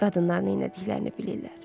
Qadınlar neylədiklərini bilirlər.